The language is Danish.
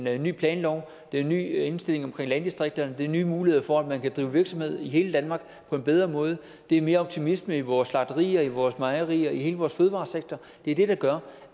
er en ny planlov det er en ny indstilling hvad angår landdistrikterne det er nye muligheder for at man kan drive virksomhed i hele danmark på en bedre måde det er mere optimisme i vores slagterier i vores mejerier i hele vores fødevaresektor det er det der gør